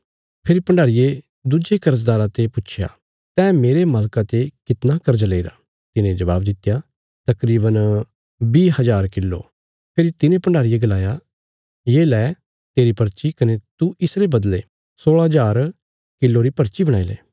फेरी भण्डारीये दुज्जे कर्जदारा ते पुच्छया तैं मेरे मालका ते कितना कर्ज लेईरा तिने जबाब दित्या तकरीवन बीह हजार किलो फेरी तिने भण्डारीये गलाया ये ले तेरी पर्ची कने तू इसरे बदले सोलह हजार किलो री पर्ची बणाईले